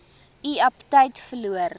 u aptyt verloor